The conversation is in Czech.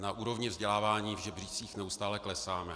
Na úrovni vzdělávání v žebříčcích neustále klesáme.